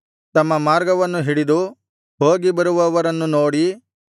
ತಮ್ಮ ಮಾರ್ಗವನ್ನು ಹಿಡಿದು ಹೋಗಿ ಬರುವವರನ್ನು ನೋಡಿ